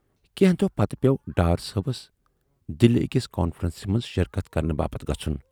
کینہہ دۅہہ پتہٕ پٮ۪و ڈار صٲبَس دِلہِ ٲکِس کانفرنسہِ منز شرکت کرنہٕ باپتھ گژھُن۔